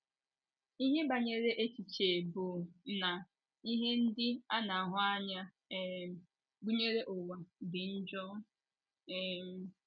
Ihe banyere echiche bụ́ na ihe ndị a na - ahụ anya um, gụnyere ụwa, dị njọ? um